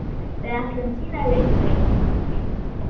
Við ætlum að sýna leikrit núna.